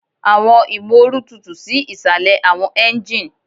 Awọn imooru tutu si isalẹ awọn engine